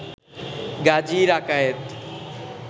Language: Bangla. গাজী রাকায়েত